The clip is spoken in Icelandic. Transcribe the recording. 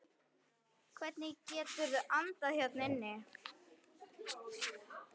Hvernig geturðu andað hérna inni?